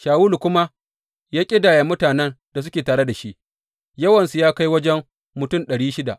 Shawulu kuma ya ƙidaya mutanen da suke tare da shi, yawansu ya kai wajen mutum ɗari shida.